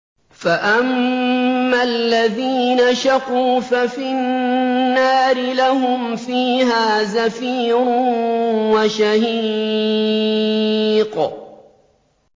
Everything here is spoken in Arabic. فَأَمَّا الَّذِينَ شَقُوا فَفِي النَّارِ لَهُمْ فِيهَا زَفِيرٌ وَشَهِيقٌ